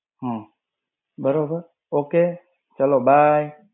હમ્મ. બરોબર. Okay ચલો bye.